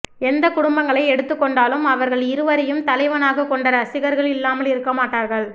எந்த குடும்பங்களை எடுத்துக் கொண்டாலும் இவர்கள் இருவரையும் தலைவனாக கொண்ட ரசிகர்கள் இல்லாமல் இருக்க மாட்டார்கள்